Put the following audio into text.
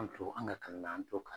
An tulo , an ka kalan na an tulo ka